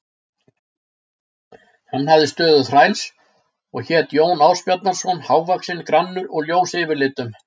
Hann hafði stöðu þræls og hét Jón Ásbjarnarson, hávaxinn, grannur og ljós yfirlitum.